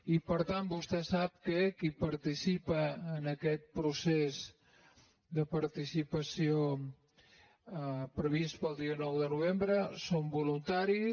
i per tant vostè sap que qui participa en aquest procés de participació previst per al dia nou de novembre són voluntaris